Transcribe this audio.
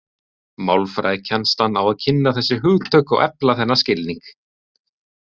Málfræðikennslan á að kynna þessi hugtök og efla þennan skilning.